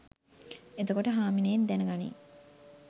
එතකොට හාමිනේත් දැන ගනියි